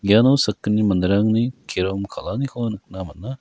iano sakgni manderangni kerom kal·aniko nikna man·a.